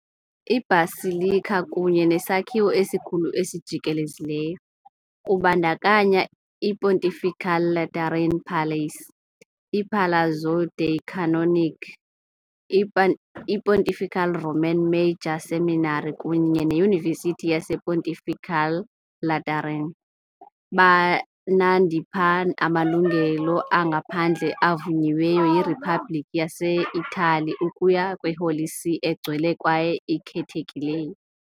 I-basilica kunye nesakhiwo esikhulu esijikelezileyo, kubandakanya iPontifical Lateran Palace, iPalazzo dei Canonici, iPontifical Roman Major Seminary kunye neYunivesithi yasePontifical Lateran, banandipha amalungelo angaphandle avunyiweyo yiRiphabhlikhi yaseItali ukuya kwiHoly See egcwele kwaye ikhethekileyo.